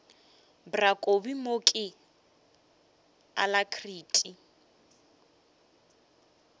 bra kobi mo ke alacrity